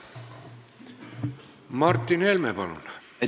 Martin Helme, palun!